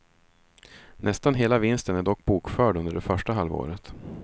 Nästan hela vinsten är dock bokförd under det första halvåret.